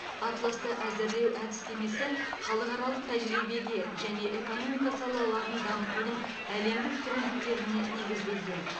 атласты әзірлеу әдістемесі халықаралық тәжірибеге және экономика салаларын дамытудың әлемдік трендтеріне негізделген